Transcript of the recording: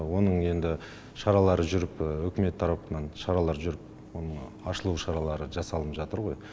оның енді шаралары жүріп үкімет тарапынан шаралар жүріп оның ашылу шаралы жасалынып жатыр ғой